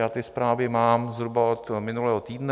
Já ty zprávy mám zhruba od minulého týdne.